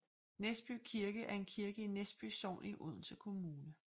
Næsby Kirke er en kirke i Næsby Sogn i Odense Kommune